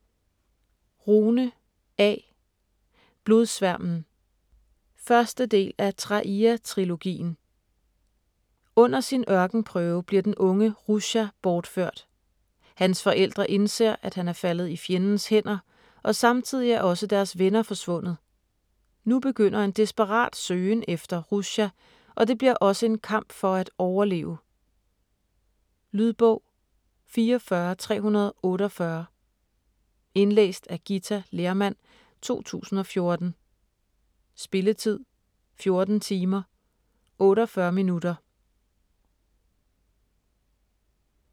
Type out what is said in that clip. Rune, A.: Blodsværmen 1. del af Traia trilogien. Under sin ørkenprøve bliver den unge Rusha borført. Hans forældre indser, at han er faldet i fjendens hænder, og samtidigt er også deres venner forsvundet. Nu begynder en desperat søgen efter Rusha, og det bliver også en kamp for at overleve. Lydbog 44348 Indlæst af Githa Lehrmann, 2014. Spilletid: 14 timer, 48 minutter.